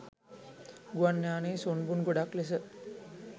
ගුවන් යානය සුන්බුන් ගොඩක් ලෙස